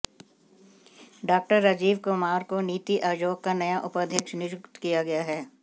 डॉ राजीव कुमार को नीति आयोग का नया उपाध्यक्ष नियुक्त किया गया है